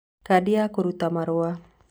Kadi ya kũruta marũa;